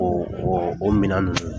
O o o mina ninnu